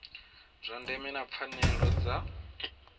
zwa ndeme na pfanelo dza